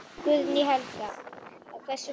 Guðný Helga: Hversu margir?